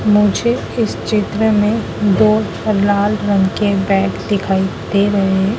मुझे इस चित्र में दो लाल रंग के बैग दिखाई दे रहे--